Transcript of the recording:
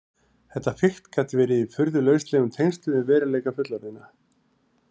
Þetta fikt gat verið í furðu lauslegum tengslum við veruleika fullorðinna.